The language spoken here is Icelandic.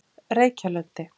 Reykjalundi